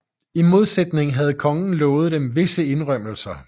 I modsætning havde kongen lovet dem visse indrømmelser